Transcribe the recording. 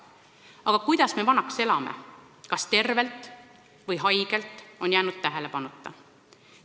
Aga kuidas me vanaks elame, kas tervena või haigena, on jäänud tähelepanuta.